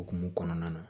Okumu kɔnɔna na